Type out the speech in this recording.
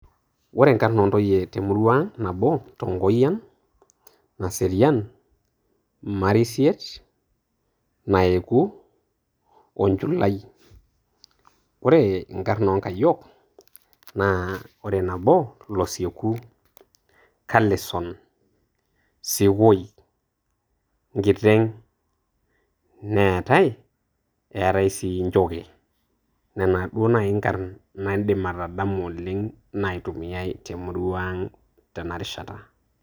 Ore inkarn oo ntuyie te murua aang' nabo, Tongoyian, Naserian, Marisiet, Naeku, o Nchulai ore inkarn o nkayiok naa kore nabo naa Kosieku, Kalison ,Sekoi ,Nkiteng' neetai eetai sii Nchokei nena duo naai inkarn naidim atadamu oleng' naitumiai te emurua aang' tena rishata.